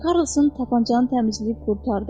Karlson tapançanı təmizləyib qurtardı.